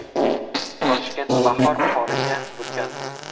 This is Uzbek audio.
Toshkent bahor qoriga burkandi .